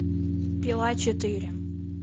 пила четыре